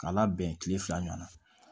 K'a labɛn kile fila ɲɔgɔn na